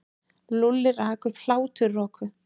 Lúlli rak upp hláturroku.